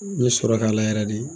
N ye sɔrɔ k'a la yɛrɛ de